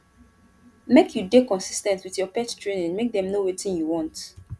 make you dey consis ten t wit your pet training make dem know wetin you want